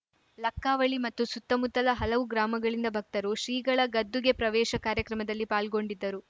ಲಕ್ಕವಳ್ಳಿ ಮತ್ತು ಸುತ್ತಮುತ್ತಲ ಹಲವು ಗ್ರಾಮಗಳಿಂದ ಭಕ್ತರು ಶ್ರೀಗಳ ಗದ್ದುಗೆ ಪ್ರವೇಶ ಕಾರ್ಯಕ್ರಮದಲ್ಲಿ ಪಾಲ್ಗೊಂಡಿದ್ದರು